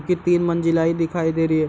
कि तीन मंज़िलाइ दिखाई दे रही है।